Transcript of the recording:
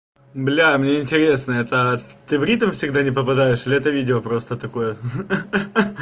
бля мне интересно это ты в ритм всегда не попадаешь или это видео просто такое ха-ха